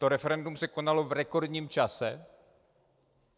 To referendum se konalo v rekordním čase.